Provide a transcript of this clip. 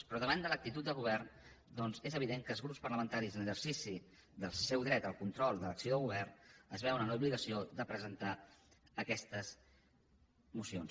però davant de l’actitud del govern doncs és evident que els grups parlamentaris en l’exercici del seu dret al control de l’acció del govern es veuen en l’obligació de presentar aquestes mocions